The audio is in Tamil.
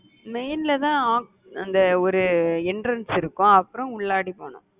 main ல தான் அஹ் அந்த ஒரு entrance இருக்கும் அப்புறம் உள்ளாடி போனும்